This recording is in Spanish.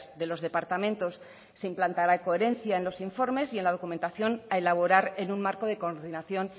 de los departamentos se implantara coherencia en los informes y en la documentación a elaborar en un marco de coordinación